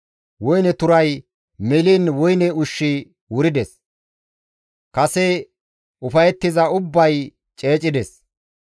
Woyne turay meliin woyne ushshi wurides; kase ufayettiza ubbay ceecides.